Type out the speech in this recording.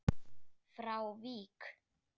frá Vík.